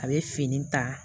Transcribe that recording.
A bɛ fini ta